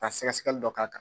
Ka sɛgɛsɛgɛli dɔ k'a kan.